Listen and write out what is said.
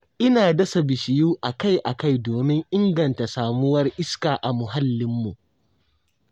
Ina dasa bishiyu a-kai-a-kai domin inganta samuwar iska a muhallinmu.